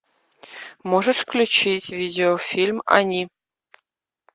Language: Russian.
можешь включить видеофильм они